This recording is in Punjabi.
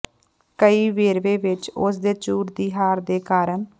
ਕਈ ਵੇਰਵੇ ਵਿੱਚ ਉਸ ਦੇ ਝੂਠ ਦੀ ਹਾਰ ਦੇ ਕਾਰਨ